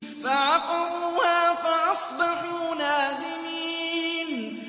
فَعَقَرُوهَا فَأَصْبَحُوا نَادِمِينَ